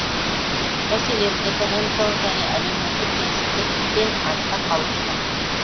мәселен экономикалық және әлеуметтік теңсіздік пен артта қалушылық